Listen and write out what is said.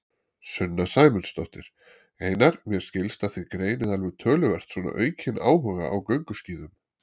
Sunna Sæmundsdóttir: Einar, mér skilst að þið greinið alveg töluvert svona aukin áhuga á gönguskíðum?